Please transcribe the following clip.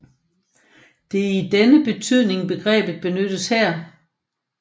Det er i denne betydning begrebet benyttes her